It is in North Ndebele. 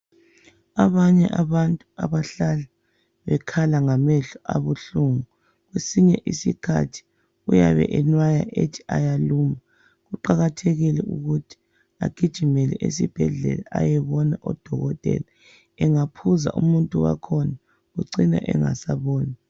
Abanye abantu abahlala bekhala ngamehlo abuhlungu kwesinye isikhathi uyabe emnaya ethi ayaluma. Kuqakathekile agijimeke esebhedlela ayebona oDokotela. Angaphuza umuntu wakhona ucina engasaboni.